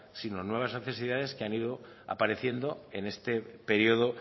sino nuevas necesidades que han ido apareciendo en este periodo